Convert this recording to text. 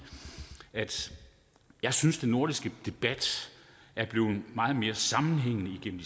at jeg synes den nordiske debat er blevet meget mere sammenhængende igennem